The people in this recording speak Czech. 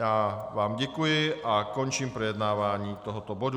Já vám děkuji a končím projednávání tohoto bodu.